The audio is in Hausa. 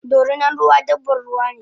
Dorinan ruwa dabban ruwane